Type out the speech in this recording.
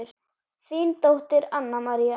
Þín dóttir, Anna María.